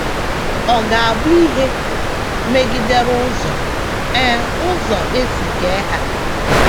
Ọ ga - abụ ihe megidere ụzọ e ụzọ e si kee ha.